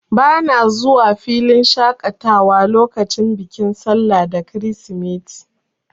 Bana zuwa filin shaƙatawa lokacin bikin sallah da kirisimeti.